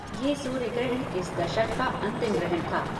यह सूर्य ग्रहण इस दशक का अंतिम ग्रहण था।